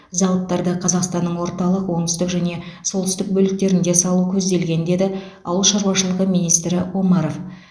зауыттарды қазақстанның орталық оңтүстік және солтүстік бөліктерінде салу көзделген деді ауыл шаруашылығы министрі омаров